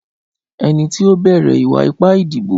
Ẹni tí ó bẹ̀rẹ̀ ìwà ipá ìdìbò